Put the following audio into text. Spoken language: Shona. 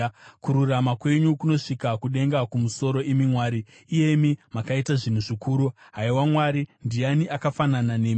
Kururama kwenyu kunosvika kudenga kumusoro, imi Mwari, iyemi makaita zvinhu zvikuru. Haiwa Mwari, ndiani akafanana nemi?